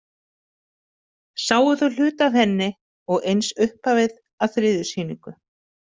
Sáu þau hluta af henni og eins upphafið að þriðju sýningu.